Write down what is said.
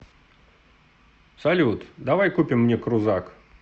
салют давай купим мне крузак